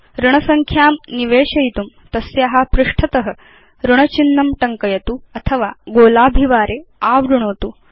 ऋणसंख्यां निवेशयितुं तस्या पृष्ठत ऋणचिह्नं टङ्कयतु अथवा गोलाभिवारे आवृणोतु